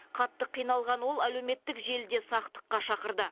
қатты қиналған ол әлеуметтік желіде сақтыққа шақырды